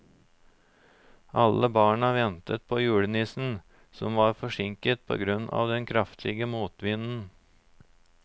Alle barna ventet på julenissen, som var forsinket på grunn av den kraftige motvinden.